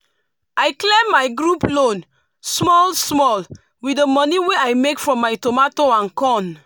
i clear my group loan small small with the moni wey i make from my tomato and corn